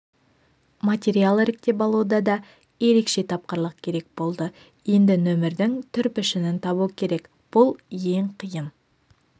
материал іріктеп алуда да ерекше тапқырлық керек болды енді нөмірдің түр-пішінін табу керек бұл ең қиын